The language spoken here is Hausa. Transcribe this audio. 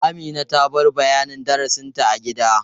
Amina ta bar bayanin darasinta a gida.